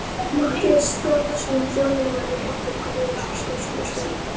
Matthías Þórðarson þjóðminjavörður, Oddur Guðjónsson, skrifstofustjóri